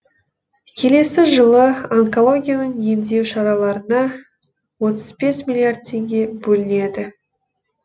келесі жылы онкологияны емдеу шараларына отыз бес миллиард теңге бөлінеді